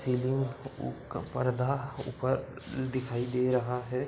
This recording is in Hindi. उ का पर्दा ऊपर दिखाई दे रहा है ।